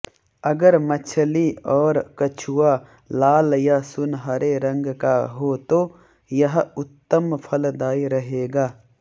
अगर मछली और कछुआ लाल या सुनहरे रंग का हो तो यह उत्तम फलदायी रहेगा